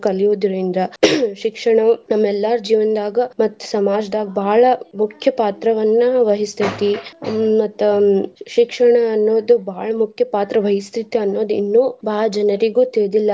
ಕಲಿಯುದ್ರಿಂದ ಶಿಕ್ಷಣ ನಮ್ಮ್ ಎಲ್ಲಾರ ಜೀವಂದಾಗ ಮತ್ತ್ ಸಮಾಜದಾಗ ಬಾಳ ಮುಖ್ಯ ಪಾತ್ರವನ್ನ ವಹಿಸ್ತೇತಿ ಮತ್ತ್ ಶಿಕ್ಷಣ ಅನ್ನೋದು ಬಾಳ ಮುಖ್ಯ ಪಾತ್ರವಹಿಸ್ತೇತಿ ಅನ್ನೋದು ಇನ್ನು ಬಾಳ ಜನರಿಗೂ ತಿಳಿದಿಲ್ಲಾ.